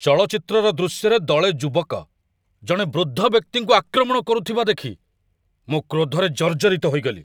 ଚଳଚ୍ଚିତ୍ରର ଦୃଶ୍ୟରେ ଦଳେ ଯୁବକ ଜଣେ ବୃଦ୍ଧ ବ୍ୟକ୍ତିଙ୍କୁ ଆକ୍ରମଣ କରୁଥିବା ଦେଖି ମୁଁ କ୍ରୋଧରେ ଜର୍ଜରିତ ହୋଇଗଲି।